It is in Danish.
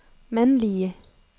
mandlige